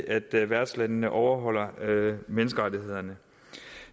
at værtslandene overholder menneskerettighederne